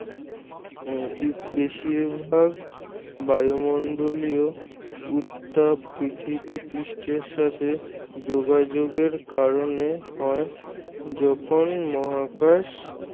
উম বেশিরভাগ বায়ুমন্ডলীয় উত্তাপ পৃথিবীপৃষ্ঠের সাথে যোগাযোগের কারণে হয়। যখন মহাকাশ